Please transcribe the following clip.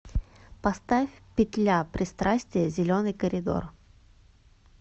поставь петля пристрастия зеленый коридор